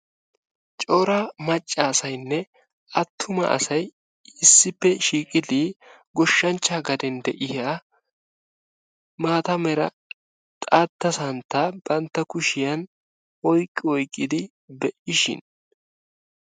Cora macca asayinne attuma asay issippe shiiqidi goshshanchchaa gaden de'iyaa maata mera xaatta santtaa bantta kushshiyaan oyqqi oyqqidi be'ishin